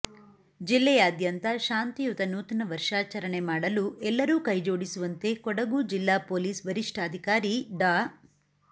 ಜಿಲ್ಲೆಯಾದ್ಯಂತ ಶಾಂತಿಯುತ ನೂತನ ವರ್ಷಾಚರಣೆ ಮಾಡಲು ಎಲ್ಲರೂ ಕೈಜೋಡಿಸುವಂತೆ ಕೊಡಗು ಜಿಲ್ಲಾ ಪೊಲೀಸ್ ವರಿಷ್ಟಾಧಿಕಾರಿ ಡಾ